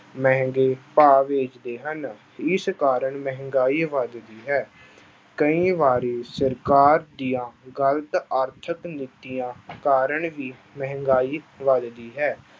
ਮਹਿੰਗੇ ਭਾਅ ਵੇਚਦੇ ਹਨ, ਇਸ ਕਾਰਨ ਮਹਿੰਗਾਈ ਵੱਧਦੀ ਹੈ, ਕਈ ਵਾਰੀ ਸਰਕਾਰ ਦੀਆਂ ਗ਼ਲਤ ਆਰਥਿਕ ਨੀਤੀਆਂ ਕਾਰਨ ਹੀ ਮਹਿੰਗਾਈ ਵੱਧਦੀ ਹੈ।